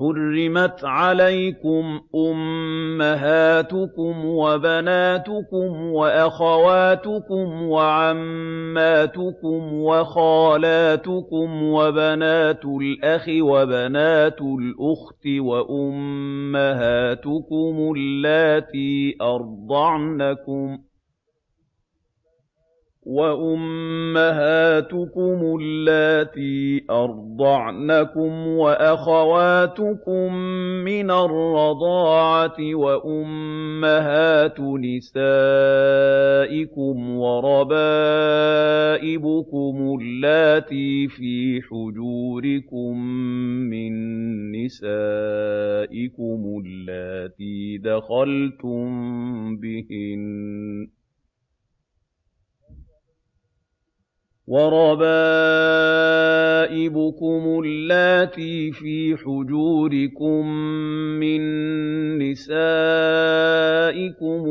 حُرِّمَتْ عَلَيْكُمْ أُمَّهَاتُكُمْ وَبَنَاتُكُمْ وَأَخَوَاتُكُمْ وَعَمَّاتُكُمْ وَخَالَاتُكُمْ وَبَنَاتُ الْأَخِ وَبَنَاتُ الْأُخْتِ وَأُمَّهَاتُكُمُ اللَّاتِي أَرْضَعْنَكُمْ وَأَخَوَاتُكُم مِّنَ الرَّضَاعَةِ وَأُمَّهَاتُ نِسَائِكُمْ وَرَبَائِبُكُمُ اللَّاتِي فِي حُجُورِكُم مِّن نِّسَائِكُمُ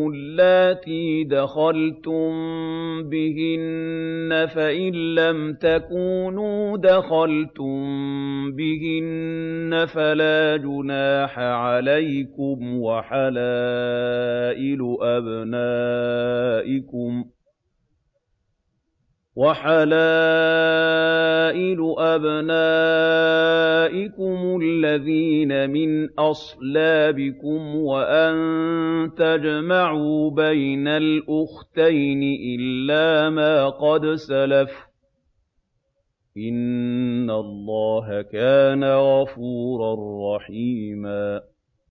اللَّاتِي دَخَلْتُم بِهِنَّ فَإِن لَّمْ تَكُونُوا دَخَلْتُم بِهِنَّ فَلَا جُنَاحَ عَلَيْكُمْ وَحَلَائِلُ أَبْنَائِكُمُ الَّذِينَ مِنْ أَصْلَابِكُمْ وَأَن تَجْمَعُوا بَيْنَ الْأُخْتَيْنِ إِلَّا مَا قَدْ سَلَفَ ۗ إِنَّ اللَّهَ كَانَ غَفُورًا رَّحِيمًا